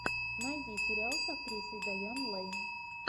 найди сериал с актрисой дайан лэйн